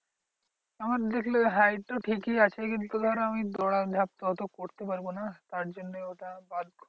তখন দেখলো height তো ঠিকই আছে কিন্তু ধর আমি দৌড়ান ঝাঁপ তো ওতো করতে পারবো না। তার জন্য ওটা বাদ করে